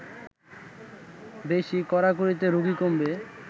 বেশি কড়াকড়িতে রোগী কমবে